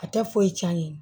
A tɛ foyi cɛn